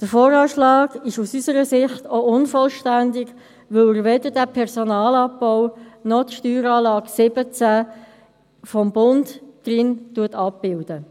Auch der VA ist aus unserer Sicht unvollständig, weil er weder diesen Personalabbau noch die Steueranlage 2017 des Bundes abbildet.